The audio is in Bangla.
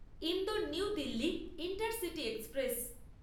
Indore new Delhi intercity express